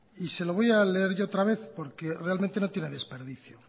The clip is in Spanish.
y se lo voy a leer yo otra vez porque realmente no tiene desperdicio